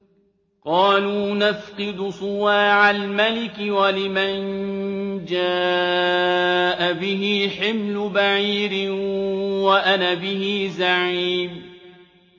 قَالُوا نَفْقِدُ صُوَاعَ الْمَلِكِ وَلِمَن جَاءَ بِهِ حِمْلُ بَعِيرٍ وَأَنَا بِهِ زَعِيمٌ